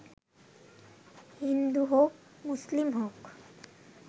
হিন্দু হোক মুসলিম হোক